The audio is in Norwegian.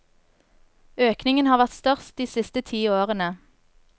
Økningen har vært størst de siste ti årene.